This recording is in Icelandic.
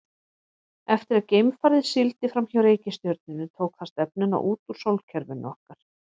Eftir að geimfarið sigldi fram hjá reikistjörnunni tók það stefnuna út úr sólkerfinu okkar.